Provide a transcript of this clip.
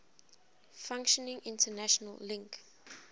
functioning international link